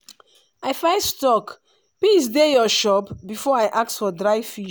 i first talk “peace dey your shop” before i ask for dry fish.